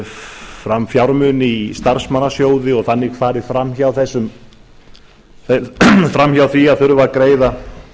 fram fjármuni í starfsmannasjóði og þannig farið fram hjá því að þurfa að greiða